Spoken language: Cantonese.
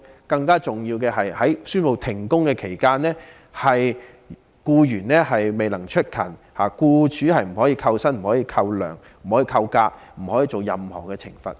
更最重要的是，在宣布停工期間，僱員如未能出勤，僱主不可扣減工資、假期或作出任何懲罰。